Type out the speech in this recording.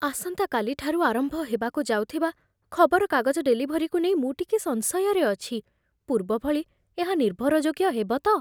ଆସନ୍ତାକାଲିଠାରୁ ଆରମ୍ଭ ହେବାକୁ ଯାଉଥିବା ଖବରକାଗଜ ଡେଲିଭରୀକୁ ନେଇ ମୁଁ ଟିକେ ସଂଶୟରେ ଅଛି। ପୂର୍ବ ଭଳି ଏହା ନିର୍ଭରଯୋଗ୍ୟ ହେବ ତ?